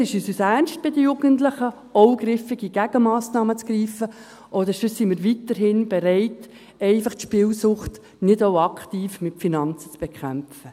Entweder ist es uns ernst, bei den Jugendlichen auch griffige Gegenmassnahmen zu ergreifen, oder sonst sind wir einfach weiterhin nicht bereit, die Spielsucht auch aktiv mit Finanzen zu bekämpfen.